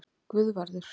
Guðvarður